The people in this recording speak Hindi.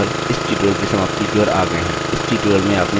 इसी के साथ हम draw पर इस tutorial की समाप्ति की ओर आ गये हैं